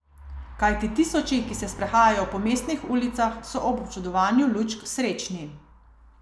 Kajti tisoči, ki se sprehajajo po mestnih ulicah, so ob občudovanju lučk srečni.